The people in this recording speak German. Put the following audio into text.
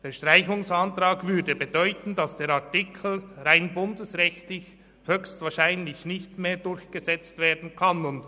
Der Streichungsantrag würde bedeuten, dass der Artikel rein bundesrechtlich höchstwahrscheinlich nicht mehr durchgesetzt werden könnte.